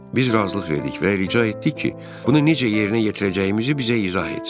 Biz razılıq verdik və rica etdik ki, bunu necə yerinə yetirəcəyimizi bizə izah etsin.